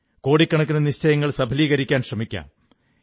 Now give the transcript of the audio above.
കോടിക്കണക്കിന് നിശ്ചയങ്ങൾ സഫലീകരിക്കാൻ ശ്രമിക്കാം